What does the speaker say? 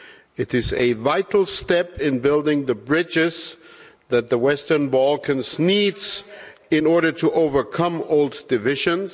It is a vital step in building the bridges that the Western Balkans needs in order to overcome old divisions.